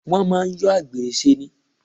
Wọ́n máà ń yọ àgbèrè ṣe ni.